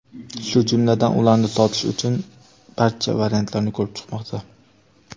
shu jumladan ularni sotish uchun "barcha variantlarni" ko‘rib chiqmoqda.